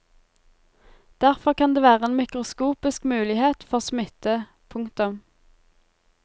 Derfor kan det være en mikroskopisk mulighet for smitte. punktum